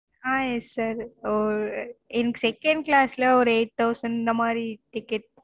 ஆஹ் yes sir ஒ எனக்கு second class ஒரு eight thousand இந்த மாதிரி ticket